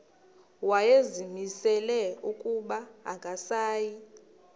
wayezimisele ukuba akasayi